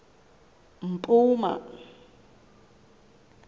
mpuma